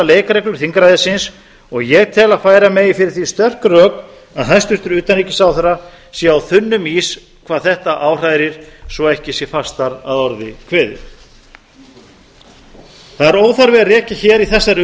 leikreglur þingræðisins og ég tel að færa megi fyrir því sterk rök að hæstvirtur utanríkisráðherra sé á þunnum ís hvað þetta áhrærir svo ekki sé fastar að orði kveðið það er óþarfi að rekja hér í þessari